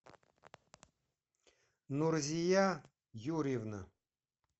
нурзия юрьевна